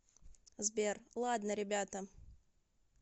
сбер ладно ребята